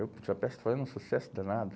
Eu peça está fazendo um sucesso danado.